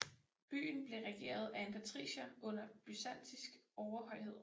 Byen blev regeret af en patricier under byzantinsk overhøjhed